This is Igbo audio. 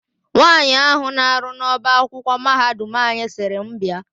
Nwaanyị ahụ na-arụ n'ọbaakwụkwọ mahadum anyị sịrị m bịa.